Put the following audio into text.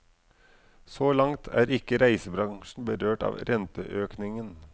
Så langt er ikke reisebransjen berørt av renteøkningen.